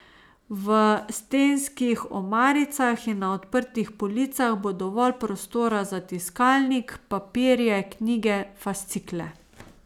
V stenskih omaricah in na odprtih policah bo dovolj prostora za tiskalnik, papirje, knjige, fascikle.